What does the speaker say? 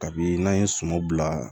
Kabini n'an ye suman bila